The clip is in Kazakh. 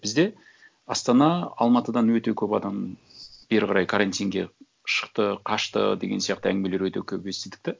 бізде астана алматыдан өте көп адам бері қарай карантинге шықты қашты деген сияқты әңгімелер өте көп естідік те